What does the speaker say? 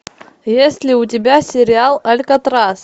есть ли у тебя сериал алькатрас